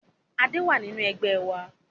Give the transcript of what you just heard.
Adé wá nínú Ẹgbẹ́ wa